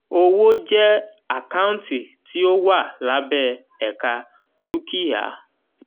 owó jẹ́ àkáǹtì tí ó wà lábẹ́ ẹka dúkìá.